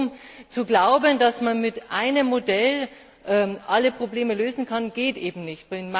Kurzum, zu glauben, dass man mit einem Modell alle Probleme lösen kann, geht eben nicht.